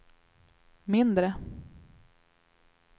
mindre